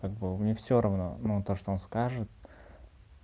как бы мне всё равно ну то что он скажет